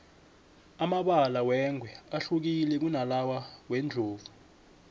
amabala wengwe ahlukile kunalawa wendlovu